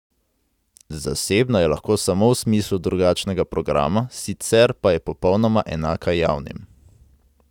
Zasebna je lahko samo v smislu drugačnega programa, sicer pa je popolnoma enaka javnim.